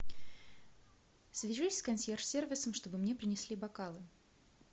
свяжись с консьерж сервисом чтобы мне принесли бокалы